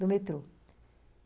Do metrô.